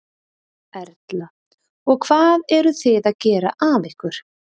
Erla: Og hvað eruð þið að gera af ykkur?